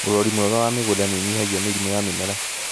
ũrori mwega wa mĩgũnda nĩũnyihagia mĩrimũ ya mĩmera.